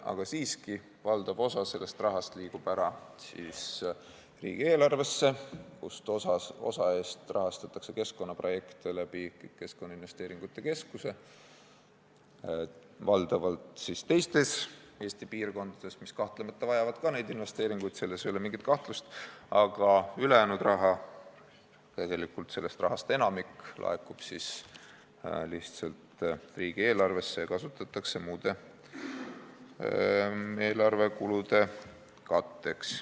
Aga siiski, valdav osa sellest rahast liigub riigieelarvesse, osa eest rahastatakse keskkonnaprojekte Keskkonnainvesteeringute Keskuse kaudu, valdavalt teistes Eesti piirkondades , aga ülejäänud raha, tegelikult sellest rahast enamik laekub lihtsalt riigieelarvesse ja seda kasutatakse muude eelarvekulude katteks.